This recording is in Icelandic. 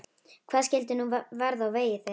Hvað skyldi nú verða á vegi þeirra?